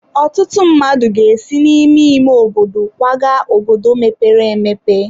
Ọtụtụ mmadụ ga-esi n'ime ime obodo kwaga obodo mepere emepe.